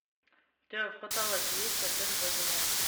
у тебя в каталоге есть отель вавилон